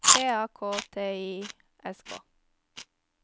T A K T I S K